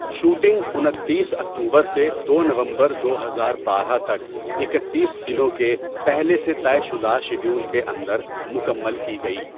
Shooting انتیس October سے دو نومبر دو ہزار بارہ تک اکتیس دنوں کے پہلے سے طے شدہ شیڈول کے اندر مکمل کی گئی۔